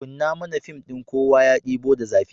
Kunna mana fim ɗin "Kowa ya Ɗebo da Zafi".